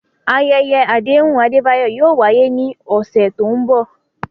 Ayẹyẹ àdéhùn Adebayo yóò wáyé ní ọ̀sẹ̀ tó ń bọ̀.